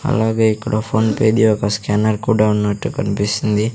అలాగే ఇక్కడ ఫోన్ పే ది ఒక స్కానర్ కూడా ఉన్నట్టు కన్పిస్తుంది.